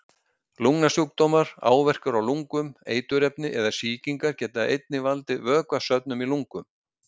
Lungnasjúkdómar, áverkar á lungum, eiturefni eða sýkingar geta einnig valdið vökvasöfnun í lungum.